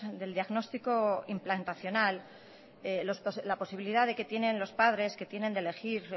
del diagnóstico implantacional la posibilidad de que tienen los padres de elegir